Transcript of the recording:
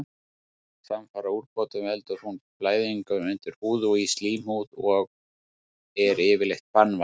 Samfara útbrotum veldur hún blæðingu undir húð og í slímhúð og er yfirleitt banvæn.